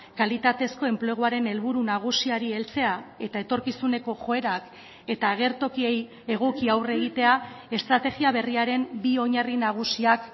kalitatezko enpleguaren helburu nagusiari heltzea eta etorkizuneko joerak eta agertokiei egoki aurre egitea estrategia berriaren bi oinarri nagusiak